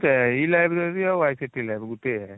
ସେ e-library ଆଉ ICT lab ଗୋଟେ